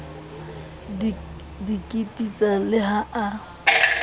di kititsa le ha a